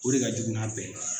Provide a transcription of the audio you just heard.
O de ka jugu n'a bɛɛ ye.